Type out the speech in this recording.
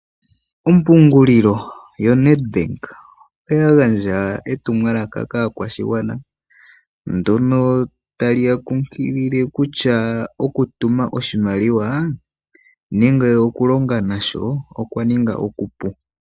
Ompungulilo yoNedbank oya gandja etumwalaka kaakwashigwana ndyono tali ya kunkilile kutya oku tuma oshimaliwa nenge oku longa nasho okwa ninga okupu.